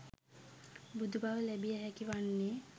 බුදු බව ලැබිය හැකි වන්නේ